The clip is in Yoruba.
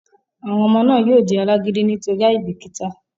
àwọn ọmọ náà yóò di alágídí nítorí àìbìkítà